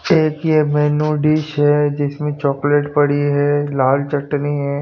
Check ये menu dish है जिसमे चॉकलेट पड़ी है लाल चटनी है।